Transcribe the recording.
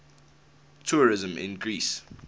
tourism in greece